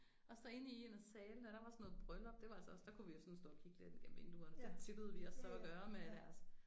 Og så inde i en af salene der var sådan noget bryllup det var altså også der kunne vi jo sådan stå og kigge lidt ind gennem vinduerne det tillod vi os så at gøre med deres